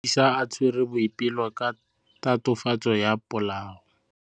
Maphodisa a tshwere Boipelo ka tatofatsô ya polaô.